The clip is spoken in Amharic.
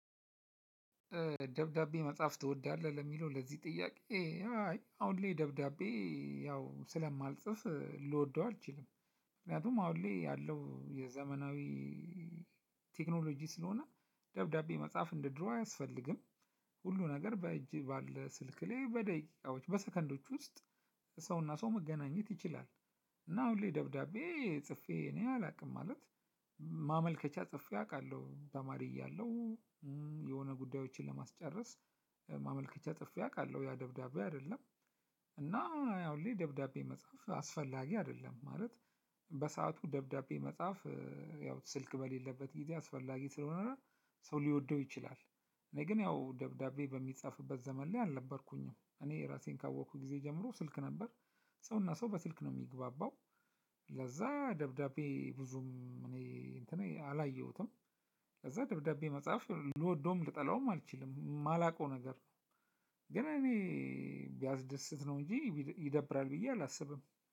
ደብዳቤ መጽሐፍ ትወዳለህ? ለሚለው ለዚህ ጥያቄ አይ አሁን ላይ ደብዳቤ ያው ስለማልጽፍ ልወደው አልችልም፤ ምክንያቱም አሁን ላይ ያለው የዘመናዊ ቴክኖሎጂ ስለሆነ፤ ደብዳቤ መጻፍ እንደ ድሮ አያስፈልግም። ሁሉ ነገር በእጅ ባለ ስልክ ላይ በደቂቃዎች፣ በሰከንዶች ውስጥ ሰውና ሰው መገናኘት ይችላል፤ እና አሁን ላይ ደብዳቤ ጽፌ እኔ አላውቅም፤ ማለት ማመልከቻ ጽፌ አውቃለሁ ተማሪ እያለሁ፤ የሆነ ጉዳዮችን ለማስጨረስ ማመልከቻ ጽፌ አውቃለሁ፤ ያ ደብዳቤ አይደለም፤ እና ያው አሁን ላይ ደብዳቤ መጽሐፍ አስፈላጊ አይደለም፤ ማለት በሰአቱ ደብዳቤ መጽሐፍ ያው ስልክ በሌለበት ጊዜ አስፈላጊ ስለሆነ ሰው ሊወደው ይችላል፤ እኔ ግን ያው ደብዳቤ በሚጻፍበት ዘመን ላይ አልነበርኩኝም፤ እኔ ራሴን ካወቅኩኝ ጊዜ ጀምሮ ስልክ ነበር፤ ሰውና ሰው በስልክ ነው የሚግባባው፤ ለዛ ደብዳቤ ብዙም እኔ አላየሁትም፤ ከዛ ደብዳቤ መጽሐፍ ልወደውም፣ ልጠላውም አልችልም፤ የማላውቀው ነገር ነው፤ ግን እኔ ቢያስደስት ነው እንጂ ይደብራል ብዬ አላስብም፤